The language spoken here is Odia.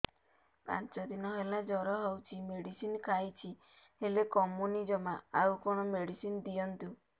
ପାଞ୍ଚ ଦିନ ହେଲା ଜର ହଉଛି ମେଡିସିନ ଖାଇଛି ହେଲେ କମୁନି ଜମା ଆଉ କଣ ମେଡ଼ିସିନ ଦିଅନ୍ତୁ